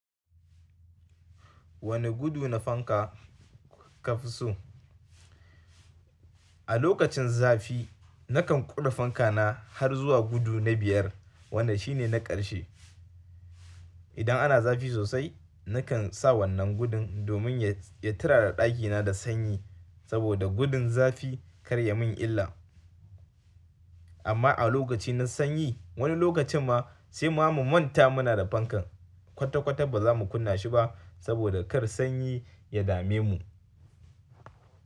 Wanne gudu na fanka ka fi so? A lokacin zafi nakan ƙure fanka na har zuwa gudu na biyar, wanda shi ne na ƙarshe. Idan ana zafi sosai nakan sa wannan gudun domin ya turara ɗakina da sanyi, saboda gudun zafi kar ya min illa. Amma a lokaci na sanyi, wani lokacin ma sai ma mu manta ma muna da fankar. Kwata kwata ba za mu kunna shi ba saboda kar sanyi ya dame mu.